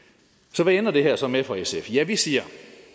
så hvad ender det her så med for sf ja vi siger